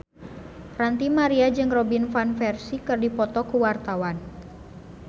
Ranty Maria jeung Robin Van Persie keur dipoto ku wartawan